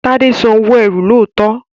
Tade sàn owo ẹ́rù lọtọ.